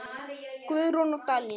Guðrún og Daníel.